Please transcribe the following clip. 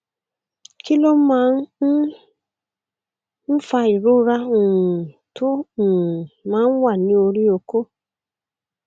kí ló máa um ń fa ìrora um tó um máa ń wà ní orí okó